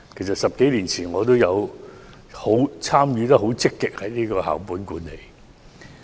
在10多年前，我也曾積極參與校本管理。